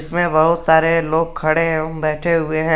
इसमें बहुत सारे लोग खड़े एवं बैठे हुए हैं।